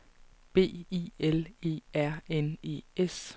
B I L E R N E S